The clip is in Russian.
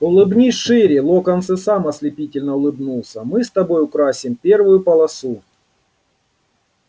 улыбнись шире локонс и сам ослепительно улыбнулся мы с тобой украсим первую полосу